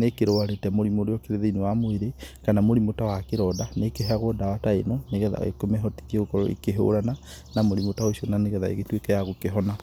nĩkĩrwarite mũrimũ ũrĩa ũkĩrĩ thĩiniĩ wa mwĩrĩ, kana mũrimũ ta wa kĩronda, nĩkĩheagwo ndawa na ĩno nĩgetha ĩmehotithie gũkorwo ĩkĩhũrana na mũrimũ ta ũcio nĩgetha ũtũĩke wa gũkĩhona.